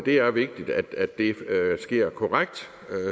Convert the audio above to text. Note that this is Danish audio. er vigtigt at det sker korrekt